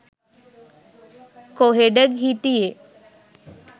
කොහෙඩ හිටියේ?